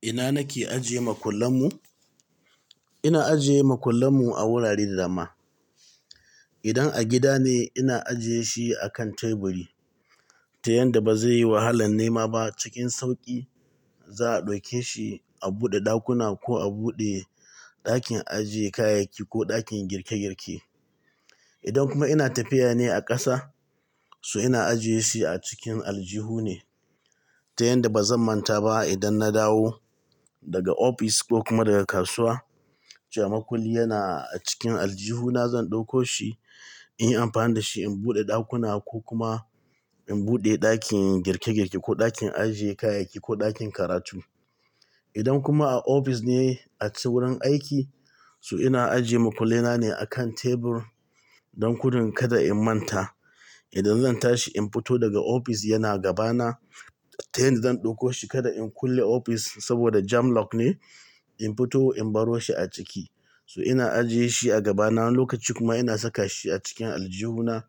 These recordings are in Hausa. Ina nake ajiye makullan mu? Ina ajiye makullan mu a wurare da dama. Idan a gida ne, ina ajiye shi a kan teburi ta yanda ba zai yi wahalan nema ba. Cikin sauƙi za'a ɗauke shi a buɗe ɗakuna ko a buɗe ɗakin ajiye kayayyaki ko ɗakin girke-girke. Idan kuma ina tafiya ne a ƙasa, so ina ajiyesu a cikin aljihu ne ta yanda ba zan manta ba idan na dawo daga ofis ko kuma daga kasuwa, cewa makulli yana a cikin aljihu na zan ɗauko shi in yi amfani da shi in buɗe ɗakuna ko kuma in buɗe ɗakin girke-girke ko ɗakin ajiye kayayyaki ko ɗakin karatu. Idan kuma a ofis ne, a cikin wurin aiki, so ina ajiye makulli na ne a kan tebur don kudin kada in manta idan zan tashi in fito daga ofis yana gabana ta yanda zan ɗauko shi kada in kulle ofis saboda jam lock ne, in fito in baro shi a ciki. So ina ajiyeshi a gabana, wani lokaci kuma ina saka shi a cikin aljihu na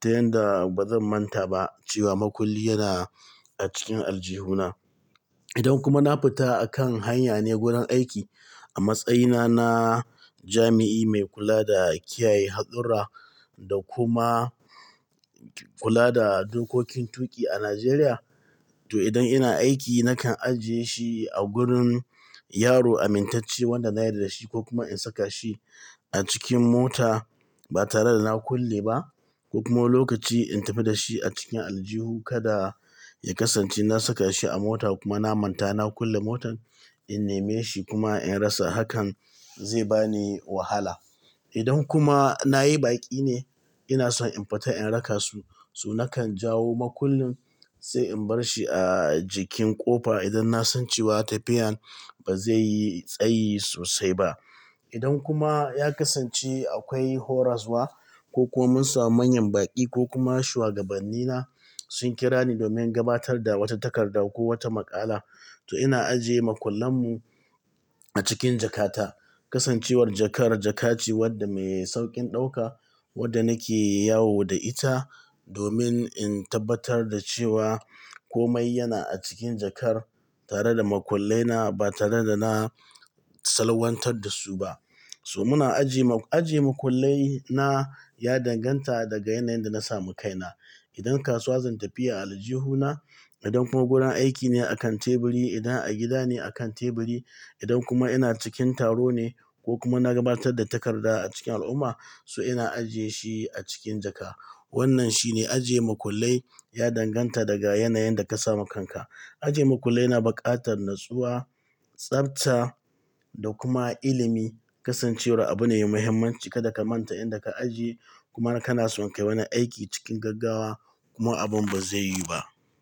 ta yanda ba zan manta ba cewa makulli yana a cikin aljihu na. Idan kuma na fita akan hanya ne wurin aiki, a matsayina na jami'i mai kula da kiyaye haɗurra da kuma kula da dokokin tuƙi a Najeriya, to idan ina aiki nakan ajiye shi a gurin yaro amintacce wanda na yardada shi ko kuma in saka shi a cikin mota ba tare da na kulle ba ko kuma wani lokaci in tafi da shi a cikin aljihu kada ya kasance na saka shi a mota kuma na manta na kulle motan in neme shi kuma in rasa, hakan zai bani wahala. Idan kuma na yi baƙi ne ina son in fita in raka su, so nakan jawo makullin sai in bar shi a jikin ƙofa idan na san cewa tafiyan ba zai yi tsayi sosai ba. Idan kuma ya kasance akwai horaswa ko kuma mun samu manyan baƙi ko kuma shugabanni na sun kira ni domin gabatar da wata takarda ko wata maƙala, to ina ajiye makullan mu a cikin jakata. Kasancewar jakar, jaka ce wadda me sauƙin ɗauka wadda nake yawo da ita domin in tabbatar da cewa komai yana a cikin jakar tare da makullai na ba tare da na salwantar da su ba. So muna ajiye-- ajiye makullai na ya danganta daga yanayin da na samu kaina. Idan kasuwa zan tafiya, a aljihu na, idan kuma gurin aiki ne a kan teburi, idan a gida ne a kan teburi, idan kuma ina cikin taro ne ko kuma na gabatar da takarda a cikin al'umma, so ina ajiye shi a cikin jaka. Wannan shine ajiye makullai ya danganta daga yanayin da ka samu kanka. Ajiye makullai na buƙatar natsuwa, tsafta da kuma ilimi. Kasancewar abu ne mai muhimmanci kada ka manta inda ka ajiye kuma kana son kai wani aiki cikin gaggawa kuma abin ba zai yiwu ba.